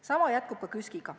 Sama jätkub ka KÜSK-iga.